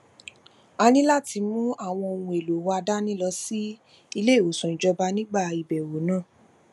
a ní láti mú àwọn ohun èlò wa dání lọ sí iléìwòsàn ìjọba nígbà ìbèwò náà